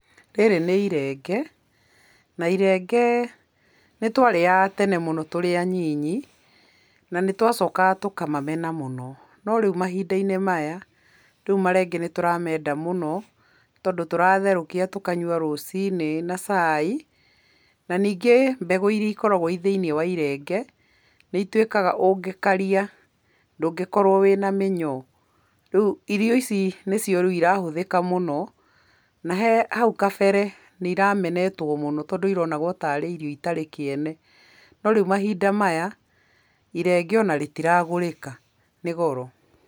Rĩrĩ nĩ irenge, na irenge nĩtwarĩaga tene mũno tũrĩ anini, nanĩtwacokaga tũkamamena mũno. No rĩu mahinda-inĩ maya, rĩu marenge nĩtũramenda mũno, tondũ tũratherũkia tũkanyua rũci-inĩ na cai. Na ningĩ mbegũ iria ikoragwo ci thĩiniĩ wa irenge nĩituĩkaga, ũngĩkaria ndũngĩkorwo wĩna mĩnyoo. Rĩu irio ici nĩcio rĩu irahũthĩka mũno na he hau kabere nĩiramenetwo tondũ ironagwo tarĩ irio itarĩ kĩene. No rĩu mahinda maya, irenge onarĩtiragũrĩka, nĩ goro.